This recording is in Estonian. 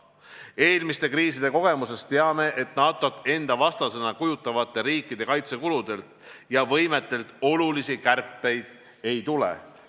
Eelmiste kriiside kogemusest teame, et NATO-t enda vastaseks pidavad riigid oma kaitsekulusid ja -võimet kärpima ei hakka.